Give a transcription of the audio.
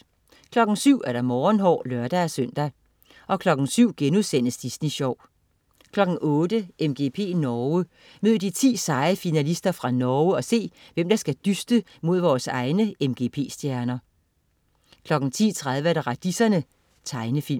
07.00 Morgenhår (lør-søn) 07.00 Disney Sjov* 08.00 MGP Norge. Mød de 10 seje finalister fra Norge og se, hvem af der skal dyste mod vores egne MGP-stjerner 10.30 Radiserne. Tegnefilm